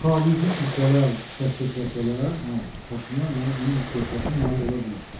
Xarici kilsələr dəstəkləsələr, hə, Paşinyan yəni onun istefasına nail ola bilər.